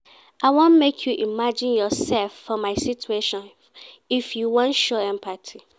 I wan make you imagine yoursef for my situation if you wan show empathy.